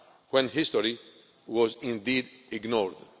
past, when history was indeed ignored.